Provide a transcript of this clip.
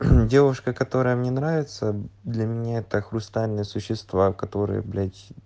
девушка которая мне нравится для меня это хрустальные существа которые блять